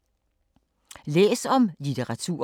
Læs om litteratur